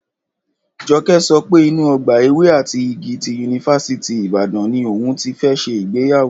Jọkẹ́ sọ pé inú ọgbà ewé àti igi ti Yunifásítì Ìbàdàn ni òun ti fẹ́ ṣe ìgbéyàwó